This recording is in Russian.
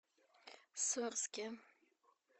сорске